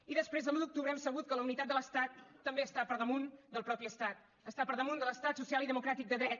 i després de l’un d’octubre hem sabut que la unitat de l’estat també està per damunt del mateix estat està per damunt de l’estat social i democràtic de dret